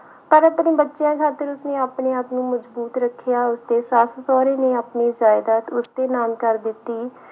ਪਰ ਆਪਣੇ ਬੱਚਿਆਂ ਖਾਤਰ ਉਸਨੇ ਆਪਣੇ ਆਪ ਨੂੰ ਮਜ਼ਬੂਤ ਰੱਖਿਆ, ਉਸਦੇ ਸੱਸ ਸਹੁਰੇ ਨੇ ਆਪਣੀ ਜਾਇਦਾਦ ਉਸਦੇ ਨਾਮ ਕਰ ਦਿੱਤੀ।